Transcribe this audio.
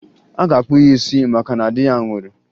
A ga-akpụ ya isi maka na di ya nwụrụ